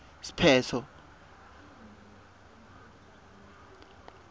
siphetfo